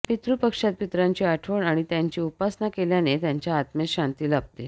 पितृपक्षात पितरांची आठवण आणि त्यांची उपासना केल्याने त्यांच्या आत्मेस शांती लाभते